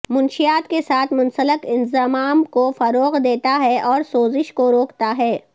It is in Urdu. منشیات کے ساتھ منسلک انضمام کو فروغ دیتا ہے اور سوزش کو روکتا ہے